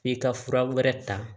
F'i ka fura wɛrɛ ta